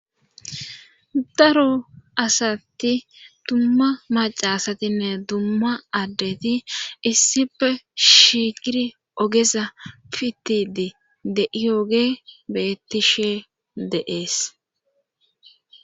Daro asatti dumma macaasatinne dumma addeti issife shigiri ogeza pittidi de'ioge bettishe deees.